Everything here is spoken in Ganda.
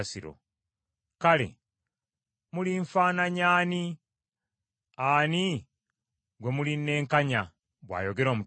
“Kale mulinfaananya ani, ani gwe mulinnenkanya?” bw’ayogera Omutukuvu.